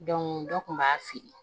dɔ kun b'a feere